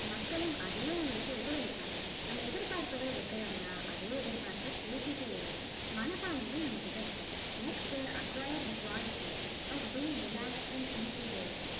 மக்களும் அதையே உங்களுக்கு எதிரொளிப்பாங்க நம்ம எதிர்பார்ப்புகள் வைக்கிறோம்னா அதே எதிர்பார்ப்ப பூர்த்தி செய்யற மனப்பான்மையும் நம்ம கிட்ட இருக்கணும் next acquire the quality of being relaxed and easy going